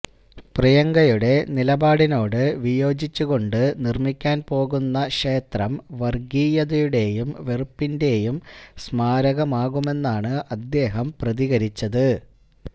പ്രിയങ്കയുടെ നിലപാടിനോട് വിയോജിച്ച് കൊണ്ട് നിര്മ്മിക്കാന് പോകുന്ന ക്ഷേത്രം വര്ഗീയതയുടെയും വെറുപ്പിന്റെയും സ്മാരകമാകുമെന്നാണ് അദ്ദേഹം പ്രതികരിച്ചത്